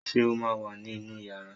Ṣé o ma wà ní inú yàrá